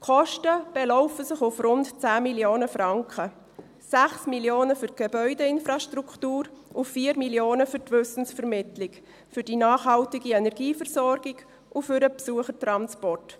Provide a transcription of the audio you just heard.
Die Kosten belaufen sich auf rund 10 Mio. Franken, 6 Mio. Franken für die Gebäudeinfrastruktur und 4 Mio. Franken für die Wissensvermittlung, für die nachhaltige Energieversorgung und für den Besuchertransport.